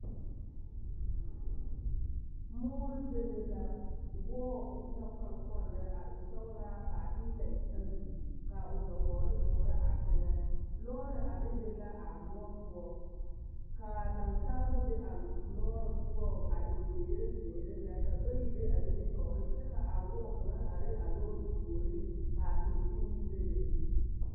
Moore bebe la, wɔɔ e na kpoŋ kpoŋ lɛ a e sɔgelaa k'a eelɛ e ayi ka o nyobogiri toɔrɔ a teŋɛ, lɔɔre a bebe la a moɔ poɔ ka naasaalba be a lɔɔre poɔŋ a e zeere zeere lɛ ka bayi be a nimitɔɔreŋ kyɛ ka wɔɔ kaŋa are a lɔɔre puoriŋ ka a teere meŋ bebe.